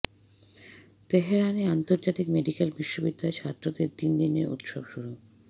তেহরানে আন্তর্জাতিক মেডিক্যাল বিশ্ববিদ্যালয়ের ছাত্রদের তিন দিনের উৎসব শুরু